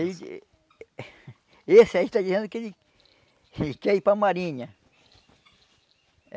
Esse esse aí está dizendo que ele ele quer ir para a marinha.